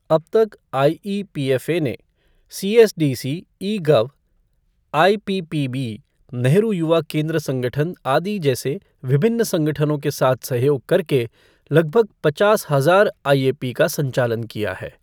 अब तक आईईपीएफ़ए ने CSDC e gov, IPPB, Nehru Yuva Kendra Sangathan आदि जैसे विभिन्न संगठनों के साथ सहयोग करके लगभग पचास हजार आईएपी का संचालन किया है।